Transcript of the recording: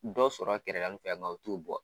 Dɔ sɔrɔ kɛrɛgali fɛ nga u t'u bɔ.